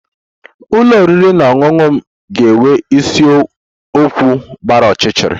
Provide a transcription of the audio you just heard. Ụlọ oriri na ọṅụṅụ m ga-enwe isiokwu gbara ọchịchịrị